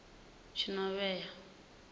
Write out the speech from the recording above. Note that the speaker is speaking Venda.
tshinovhea